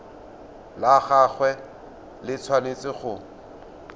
la gagwe le tshwanetse go